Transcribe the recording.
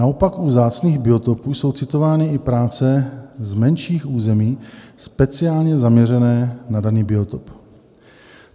Naopak u vzácných biotopů jsou citovány i práce z menších území speciálně zaměřené na daný biotop.